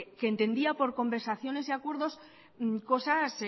que entendía por conversaciones y acuerdos cosas